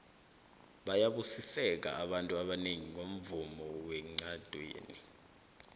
bayabusiseka abantu ebengi ngomvumo wencandwene